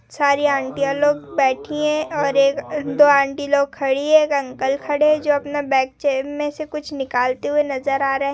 सारी आंटियां लोग बैठी है और दो आंटी लोग खड़ी है और एक अंकल खड़े है जो अपने बैग चे में से कुछ निकालते हुए नजर आ रहे है।